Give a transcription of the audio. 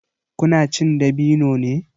Ku na cin dabino ne?